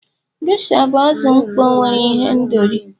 Gesha bụ azụ mkpọ nwere ihendori.